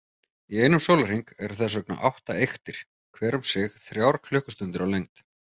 Í einum sólarhring eru þess vegna átta eyktir, hver um sig þrjár klukkustundir á lengd.